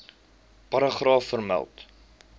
paragraaf vermeld